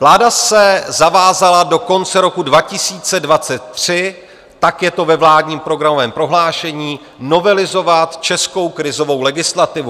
Vláda se zavázala do konce roku 2023, tak je to ve vládním programovém prohlášení, novelizovat českou krizovou legislativu.